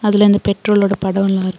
அதுல அந்த பெட்ரோலோட படோலா இருக்--